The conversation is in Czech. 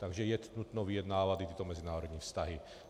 Takže je nutno vyjednávat i tyto mezinárodní vztahy.